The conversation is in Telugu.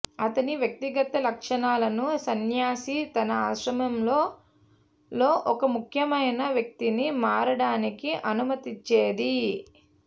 అతని వ్యక్తిగత లక్షణాలను సన్యాసి తన ఆశ్రమంలో లో ఒక ముఖ్యమైన వ్యక్తిని మారడానికి అనుమతించేది